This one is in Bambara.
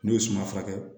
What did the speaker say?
N'o ye suma furakɛ